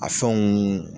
A fɛnw